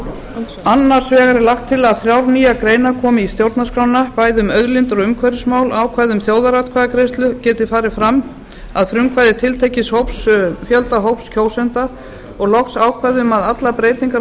annars vegar er lagt til að þrjár nýjar greinar komi í stjórnarskrána ákvæði um auðlindir og umhverfismál ákvæði um að þjóðaratkvæðagreiðsla geti farið fram að frumkvæði tiltekins fjölda hóps kjósenda og loks ákvæði um að allar breytingar á